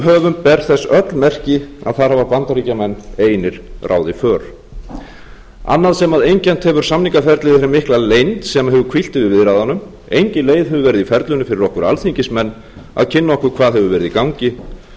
höfum ber þess öll merki að þar hafa bandaríkjamenn einir ráðið för annað sem einkennt hefur samningaferlið er hin mikla leynd sem hefur hvílt yfir viðræðunum engin leið hefur verið í ferlinu fyrir okkur alþingismenn að kynna okkur hvað hefur verið í gangi